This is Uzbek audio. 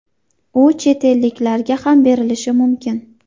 U chet elliklarga ham berilishi mumkin.